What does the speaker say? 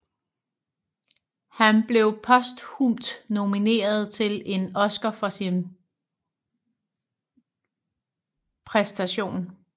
Han blev posthumt nomineret til en Oscar for sin præstation